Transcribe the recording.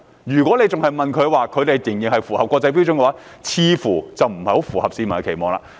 如果政府仍聲稱日方符合國際標準，似乎不太符合市民的期望。